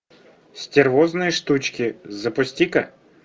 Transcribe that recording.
стервозные штучки запусти ка